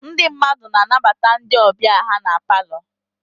Ndị mmadụ na-anabata ndị ọbịa ha na palọ.